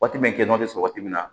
Waati min kɛnɛ bɛ sɔrɔ waati min na